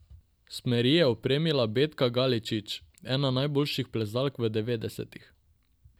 Smeri je opremila Betka Galičič, ena najboljših plezalk v devetdesetih.